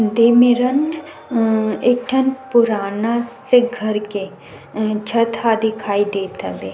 दे मेरन अ एक ठा पुराना सा घर के छत हा दिखाई देत हवे--